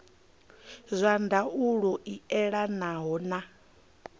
zwa ndaulo i elanaho na